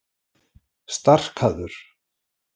Starkaður